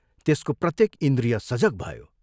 त्यसको प्रत्येक इन्द्रिय सजग भयो।